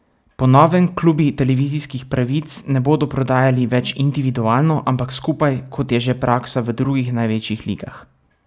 Po novem klubi televizijskih pravic ne bodo prodajali več individualno, ampak skupaj, kot je že praksa v drugih največjih ligah.